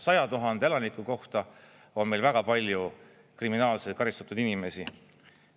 100 000 elaniku kohta on meil väga palju kriminaalselt karistatud inimesi.